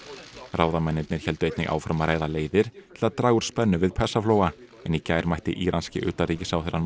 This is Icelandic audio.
ráðamennirnir héldu einnig áfram að ræða leiðir til að draga úr spennu við Persaflóa en í gær mætti íranski utanríkisráðherrann